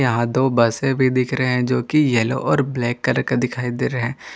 यहां दो बसें भी दिख रहे हैं जो कि यलो और ब्लैक करके दिखाई दे रहे--